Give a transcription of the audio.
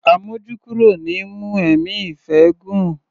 Àmójúkúrò ni í mú ẹ̀mí ìfẹ́ gùn.